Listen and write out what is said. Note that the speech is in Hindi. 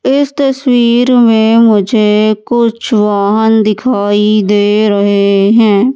इस तस्वीर में मुझे कुछ वाहन दिखाई दे रहे हैं।